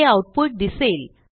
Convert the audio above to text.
हे आऊटपुट दिसेल